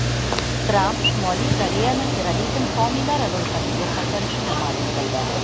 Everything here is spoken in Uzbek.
Tramp Shimoliy Koreyani terrorizm homiylari ro‘yxatiga qaytarishini ma’lum qildi.